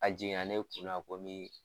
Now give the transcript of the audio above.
A jiginna ne kun na ko mi.